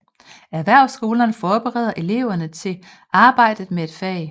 Erhvervsskolerne forbereder eleverne til arbejdet med et fag